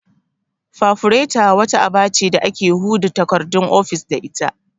Fafureta' wata aba ce da ake huda takardun ofis da ita